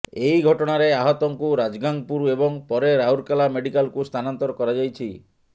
ଏହି ଘଟଣାରେ ଆହତଙ୍କୁ ରାଜଗାଙ୍ଗପୁର ଏବଂ ପରେ ରାଉରକେଲା ମେଡିକାଲକୁ ସ୍ଥାନାନ୍ତର କରାଯାଇଛି